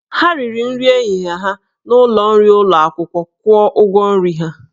Ha riri nri ehihie ha n'ụlọ nri ụlọ akwụkwọ, kwụọ ụgwọ nri ahụ!